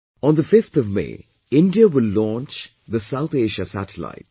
On the 5th of May, India will launch the South Asia Satellite